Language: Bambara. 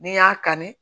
N'i y'a kanu